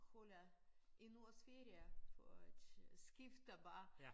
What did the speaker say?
Holder en uges ferie for at skifte bare